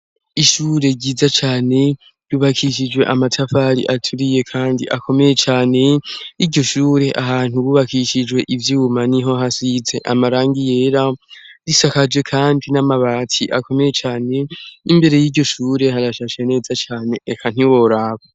Ishure ryiza cane, rubakishijwe amatafari aturiye kandi akomeye cane, iryo shure ahantu bubakishijwe ivyuma, niho hasize amarangi yera, risakaje kandi n'amabati akomeye cane, imbere y'iryo shure harashashe neza cane eka ntiworaba!